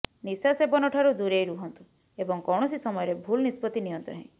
ନିଶା ସେବନଠାରୁ ଦୂରେଇ ରୁହନ୍ତୁ ଏବଂ କୌଣସି ସମୟରେ ଭୁଲ ନିଷ୍ପତ୍ତି ନିଅନ୍ତୁ ନାହିଁ